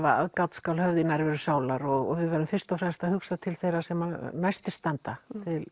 aðgát skal höfð í nærveru sálar og við verðum fyrst að hugsa til þeirra sem næstir standa